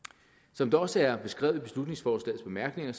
som det også er beskrevet i beslutningsforslagets bemærkninger